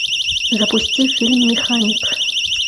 запусти фильм механик